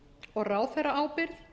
og ráðherraábyrgð